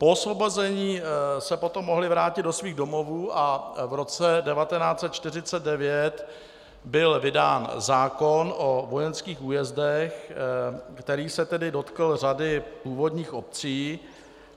Po osvobození se potom mohli vrátit do svých domovů a v roce 1949 byl vydán zákon o vojenských újezdech, který se tedy dotkl řady původních obcí.